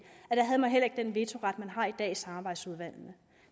havde man heller ikke den vetoret man har i dag i samarbejdsudvalgene